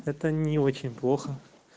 это не очень плохо